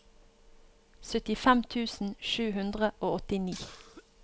syttifem tusen sju hundre og åttini